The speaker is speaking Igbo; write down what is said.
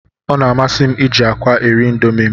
Ọ na-amasị m iji akwa eri indomi m.